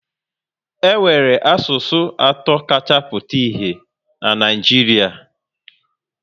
E nwere asụsụ atọ kacha pụta ìhè na Naịjiria